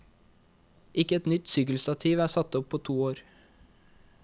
Ikke ett nytt sykkelstativ er satt opp på to år.